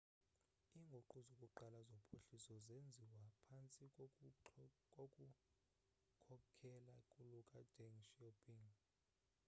inguqu zokuqala zophuhliso zenziwa phantsi kokukhokhelo lukadeng xiaoping